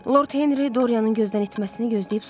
Lord Henri Doryanın gözdən itməsini gözləyib soruşdu.